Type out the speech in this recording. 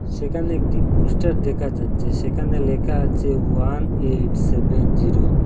সেখানে একটি পোস্টার দেখা যাচ্ছে সেখানে লেখা আছে ওয়ান এইট সেভেন জিরো ।